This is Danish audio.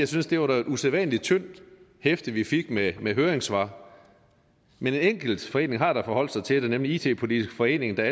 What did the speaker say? synes det var et usædvanlig tyndt hæfte vi fik med med høringssvar men en enkelt forening har da forholdt sig til det nemlig it politisk forening der